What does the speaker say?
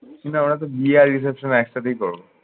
না ওরা তো বিয়ে আর reception একটাতেই করব।